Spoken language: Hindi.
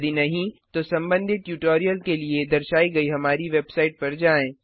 यदि नहीं तो संबंधित ट्यूटोरियल के लिए दर्शाई गई हमारी वेबसाइट पर जाएँ